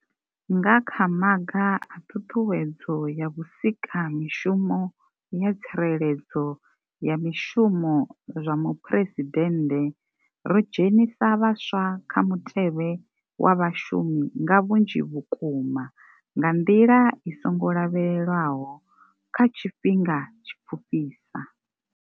Nga kha maga a ṱhuṱhuwedzo ya vhusika mishumo ya tsireledzo ya mishumo zwa muphuresidennde ri dzhenisa vhaswa kha mutevhe wa vha shumi nga vhunzhi vhukuma nga nḓila i songo lavhelelwaho kha tshifhinga tshipfufhisa.